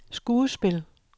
skuespil